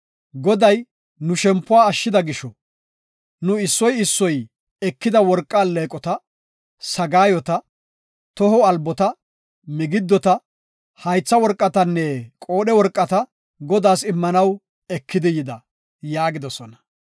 Goday nu shempuwa ashshida gisho, nu issoy issoy ekida worqa alleeqota, sagaayota, toho albota, migiddota, haytha worqatanne qoodhe worqata Godaas immanaw ekidi yida” yaagidosona.